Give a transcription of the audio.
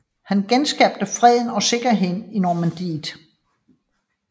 Han genskabte freden og sikkerheden i Normandiet